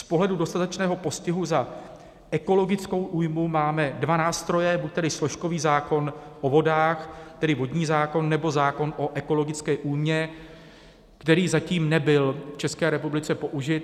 Z pohledu dostatečného postihu za ekologickou újmu máme dva nástroje, buď tedy složkový zákon o vodách, tedy vodní zákon, nebo zákon o ekologické újmě, který zatím nebyl v České republice použit.